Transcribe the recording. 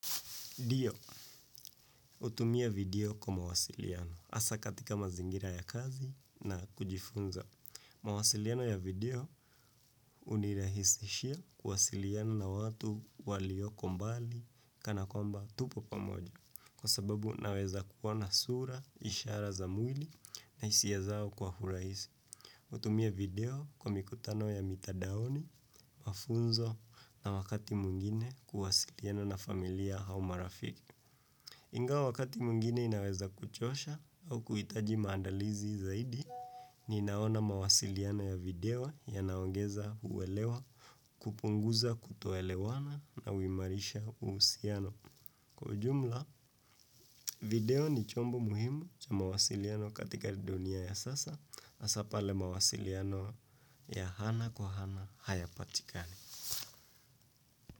Ndio, hutumia video kwa mawasiliano. Hasa katika mazingira ya kazi na kujifunza. Mawasiliano ya video hunirahisishia kuwasiliana na watu waliokombali kana kwamba tupo pamoja. Kwa sababu naweza kuwa na sura, ishara za mwili na hisia zao kwa urahisi. Hutumia video kwa mikutano ya mitadaoni, mafunzo na wakati mwingine kuwasiliano na familia au marafiki. Ingawa wakati mwingine inaweza kuchosha au kuhitaji maandalizi zaidi, ninaona mawasiliano ya video ya naongeza uwelewa, kupunguza kutoelewana na huimarisha uhusiano. Kwa ujumla, video ni chombo muhimu cha mawasiliano katika dunia ya sasa, hasa pale mawasiliano ya ana kwa ana hayapatikani.